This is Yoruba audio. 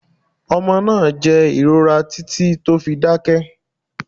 Omo naa jẹ ìrora titi to fi dákẹ́